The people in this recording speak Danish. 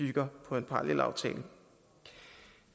bygger på en parallelaftale